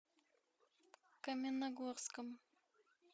каменногорском